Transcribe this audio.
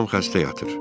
Anam xəstə yatır.